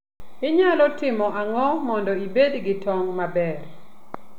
Inyalo timo ang'o mondo ibed gi tong' maber?